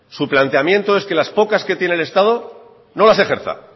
su planteamiento es que las pocas que tiene el estado no las ejerza